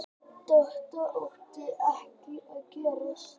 Þetta átti ekki að gerast.